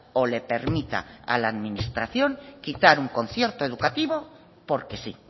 o le permita a la administración quitar un concierto educativo porque sí